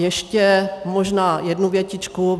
Ještě možná jednu větičku.